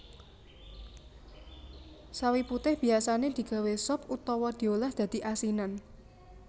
Sawi putih biyasané digawé sop utawa diolah dadi asinan